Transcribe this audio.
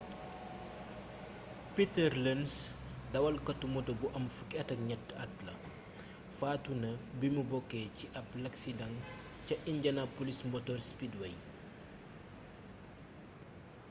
peter lenz dawalkatu moto bu am 13 at faatu na bimu bokkee ci ab laksidaŋ ca indianapolis motor speedway